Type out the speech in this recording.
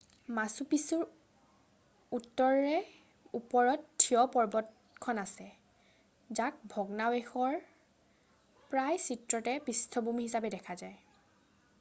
মাছু পিছুৰ উত্তৰে ওপৰত থিয় পৰ্বতখন আছে যাক ভগ্নাৱশেষৰ প্ৰায় চিত্ৰতে পৃষ্ঠভূমি হিচাপে দেখা যায়